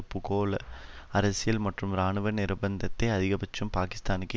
பூகோள அரசியல் மற்றும் இராணுவ நிர்பந்தத்தை அதிகபட்சம் பாகிஸ்தானுக்கு